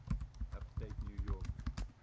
upstate new york